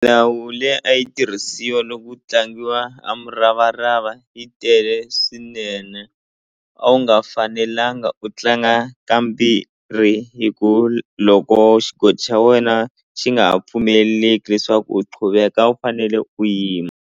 Milawu leyi a yi tirhisiwa loko ku tlangiwa a muravarava yi tele swinene a wu nga fanelanga u tlanga ka mbirhi hi ku loko xigoji xa wena xi nga ha pfumeleleki leswaku u quveka a wu fanele u yima.